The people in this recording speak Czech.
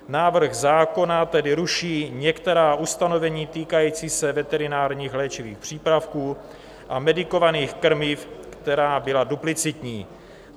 Návrh zákona tedy ruší některá ustanovení týkající se veterinárních léčivých přípravků a medikovaných krmiv, která byla duplicitní.